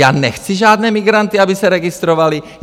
Já nechci žádné migranty, aby se registrovali!